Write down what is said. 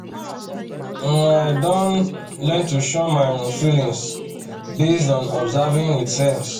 um i um don learn to shun my um feelings based on observing with sense